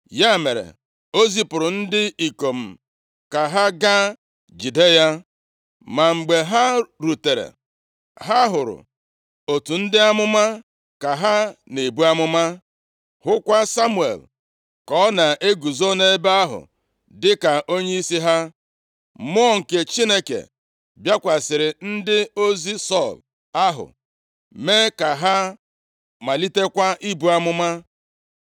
ya mere, o zipụrụ ndị ikom ka ha gaa jide ya. Ma mgbe ha rutere, ha hụrụ otu ndị amụma ka ha na-ebu amụma, hụkwa Samuel ka ọ na-eguzo nʼebe ahụ dịka onyeisi ha. Mmụọ nke Chineke bịakwasịrị ndị ozi Sọl ahụ, mee ka ha malitekwa ibu amụma.